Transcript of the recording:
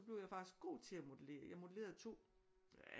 Blev jeg faktisk god til at modellere jeg modellerede 2